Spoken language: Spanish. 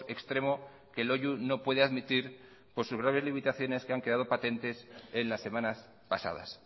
extremo que loiu no puede admitir por sus graves limitaciones que han quedado patentes en las semanas pasadas